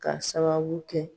K'a sababu kɛ